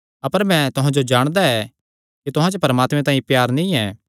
अपर मैं तुहां जो जाणदा ऐ कि तुहां च परमात्मे तांई प्यार नीं ऐ